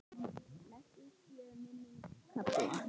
Blessuð sé minning Kalla.